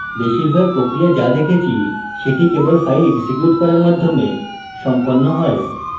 বেশিরভাগ প্রক্রিয়া যা দেখেছি সেটি কেবল file এক্সিকিউট করার মাধ্যমে সম্পন্ন হয়